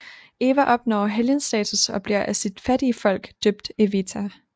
Eva opnår helgenstatus og bliver af sit fattige folk døbt Evita